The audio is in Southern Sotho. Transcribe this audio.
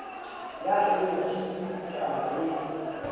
ya hleng a tiiseditaba le